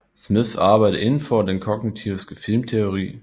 Smith arbejder inden for den kognitivistiske filmteori